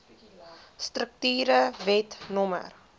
strukture wet no